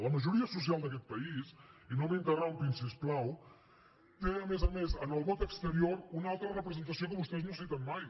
la majoria social d’aquest país i no m’interrompin si us plau té a més a més en el vot exterior una altra representació que vostès no citen mai